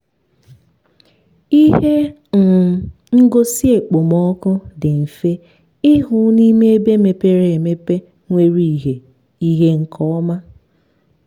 ihe um ngosi okpomọkụ dị mfe ịhụ n’ime ebe mepere emepe nwere ìhè ìhè nke ọma.